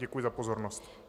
Děkuji za pozornost.